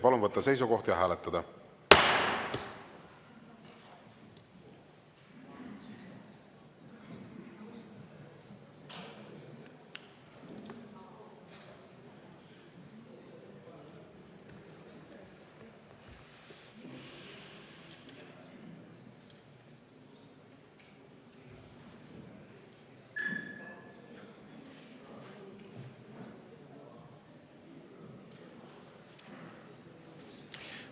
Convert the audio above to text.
Palun võtta seisukoht ja hääletada!